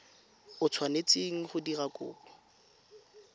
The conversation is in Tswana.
o tshwanetseng go dira kopo